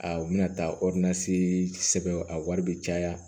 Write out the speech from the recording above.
A u bɛna taa sɛbɛn a wari bɛ caya